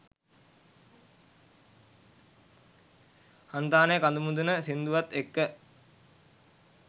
හන්තානෙ කඳුමුදුන සිංදුවත් එක්ක